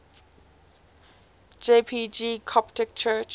jpg coptic church